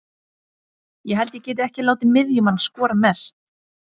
Ég held ég geti ekki látið miðjumann skora mest.